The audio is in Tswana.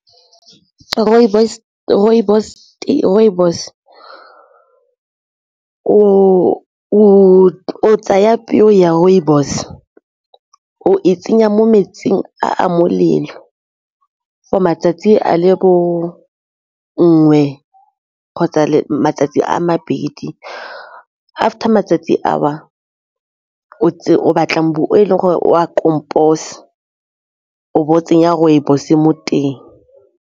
Rooibos o tsaya peo ya rooibos, o e tsenya mo metsing a molelo go matsatsi a le nngwe kgotsa matsatsi a mabedi, after matsatsi ao o batlang mmu o e leng gore o a o bo o tsenya rooibos mo teng.